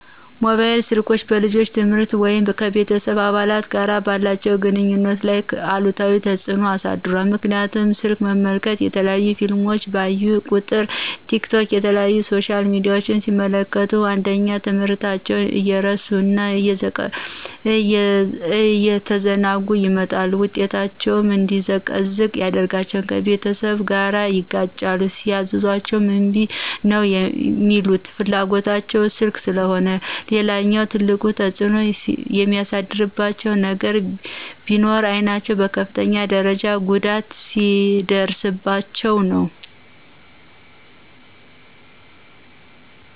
ሞባይል ስልኮች በልጆች የትምህርት ወይም ከቤተስብ አባላት ጋር ባላቸው ግንኙነት ላይ አሉታዊ ተፅኖ አሳድሯል ምክንያቱም ስልክ መመልከት፣ የተለያዩ ፊልሞችን ባዩ ቁጥር፣ ቲክቶክ የተለያዩ ሶሻል ሚዲያችን ሲመለክቱ አንደኛ ትምህርታቸውን እየረሱ እና እየተዘናጉ ይመጣሉ ውጤታቸው እንዲዘቀዝቅ ያደርጋቸዋል፣ ከቤተሰብ ጋርም ይጋጫሉ ሲያዝዟቸ እምቢ ነው ሚሉት ፍላጎታቸው ስልክ ስለሆነ። ሌላኛውና ትልቁ ተፅኖ የሚያሳድርባቸው ነገር ቢኖር አይናቸውን በከፍተኛ ደርጃ ጉዳት ሲያደርስባቸው ነው።